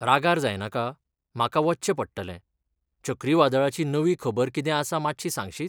रागार जायनाका, म्हाका वच्चें पडटलें, चक्रीवादळाची नवी खबर कितें आसा मातशी सांगशीत?